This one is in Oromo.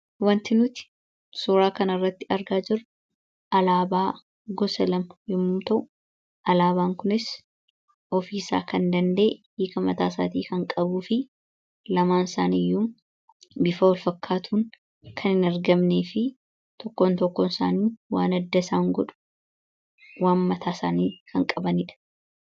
wanti nuti suuraa kanarratti argaa jiru alaabaa gosa lama yommu ta'u alaabaan kunis ofiisaa kan danda, ee yookiin mataasaatii kan qabuu fi lamaan isaani iyyuu bifa walfakkaatuun kan hin argamne fi tokkoon tokkoon isaanii waan adda isaan godhu waan mataa isaanii kan qabaniidha.